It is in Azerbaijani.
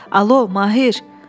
Alo, Mahir!